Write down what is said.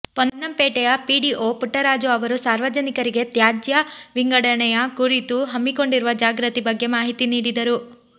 ಪೊನ್ನಂಪೇಟೆಯ PDO Puttaraju ಅವರು ಸಾರ್ವಜನಿಕರಿಗೆ ತ್ಯಾಜ್ಯ ವಿಂಗಡಣೆಯ ಕುರಿತು ಹಮ್ಮಿಕೊಂಡಿರುವ ಜಾಗೃತಿ ಬಗ್ಗೆ ಮಾಹಿತಿ ನೀಡಿದರು